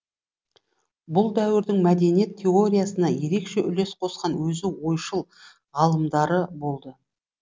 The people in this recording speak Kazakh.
бұл дәуірдің мәдениет теориясына ерекше үлес қосқан өзі ойшыл ғалымдары болды